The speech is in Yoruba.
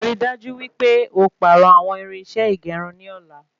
Ri dájú wípé o pàrọ àwọn irinṣẹ́ ìgérun ní ọ̀la